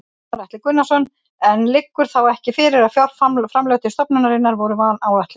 Gunnar Atli Gunnarsson: En liggur þá ekki fyrir að fjárframlög til stofnunarinnar voru vanáætluð?